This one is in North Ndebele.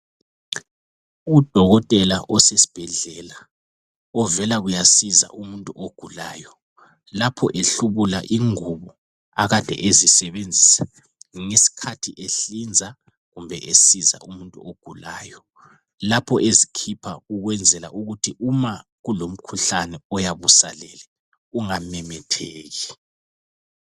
Udokotela osesibhedlela, ovela kuyasiza umuntu ogulayo. Lapho ehlubula ingubo, akade ezisebenzisa ngesikhathi ehlinza, kumbe esiza umuntu ogulayo. Lapho ezikhipha ukwenzela ukuthi uma kulomkhuhlane oyabe usalele, ungamemetheki.